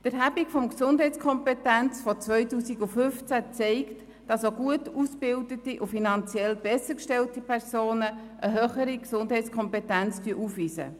Die Erhebung der Gesundheitskompetenz aus dem Jahr 2015 zeigt, dass gut ausgebildete und finanziell bessergestellte Personen eine höhere Gesundheitskompetenz aufweisen.